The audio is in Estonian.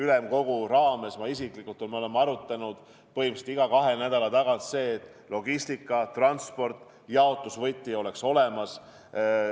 Ülemkogu raames oleme seda teinud ja ma isiklikult olen sellega tegelenud ja me oleme arutanud põhimõtteliselt iga kahe nädala tagant, selleks et logistika, transport ja jaotusvõti oleks paigas.